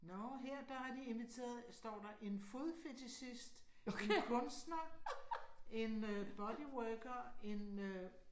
Nåh, her der har de inviteret står der en fodfetichist, en kunstner, en øh bodyworker, en øh